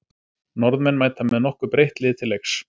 Norðmenn mæta með nokkuð breytt lið til leiks.